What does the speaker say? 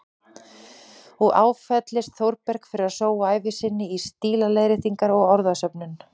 Og áfellist Þórberg fyrir að sóa ævi sinni í stílaleiðréttingar og orðasöfnun.